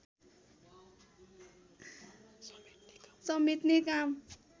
समेट्ने काम